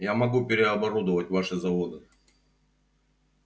я могу переоборудовать ваши заводы